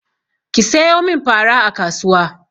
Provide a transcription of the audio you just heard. Ki sayo min fara a kasuwa!